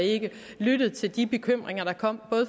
ikke lyttet til de bekymringer der kom